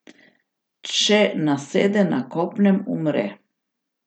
Če nasede na kopnem, umre.